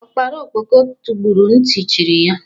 Ọkpara ọkpọko tọgbọrọ ntị cherị ya